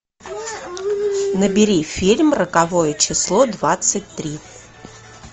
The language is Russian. набери фильм роковое число двадцать три